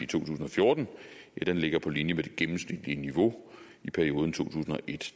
tusind og fjorten ligger på linje med det gennemsnitlige niveau i perioden to tusind og et